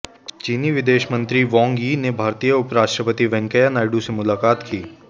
चीनी विदेश मंत्री वांग यी ने भारतीय उप राष्ट्रपति वेंकैया नायडू से मुलाकात की